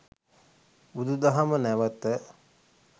බුදුදහම නැවත